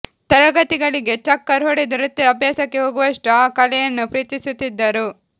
ತರಗತಿಗಳಿಗೆ ಚಕ್ಕರ್ ಹೊಡೆದು ನೃತ್ಯ ಅಭ್ಯಾಸಕ್ಕೆ ಹೋಗುವಷ್ಟು ಆ ಕಲೆಯನ್ನು ಪ್ರೀತಿಸುತ್ತಿದ್ದರು